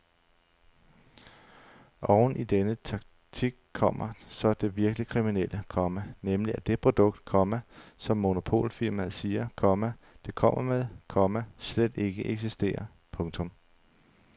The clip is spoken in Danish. Oveni denne taktik kommer så det virkelig kriminelle, komma nemlig at det produkt, komma som monopolfirmaet siger, komma det kommer med, komma slet ikke eksisterer. punktum